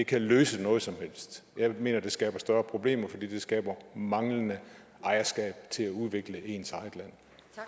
kan løse hvad som helst jeg mener at det skaber større problemer fordi det skaber manglende ejerskab til at udvikle ens eget land